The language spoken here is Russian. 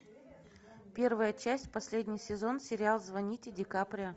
первая часть последний сезон сериал звоните ди каприо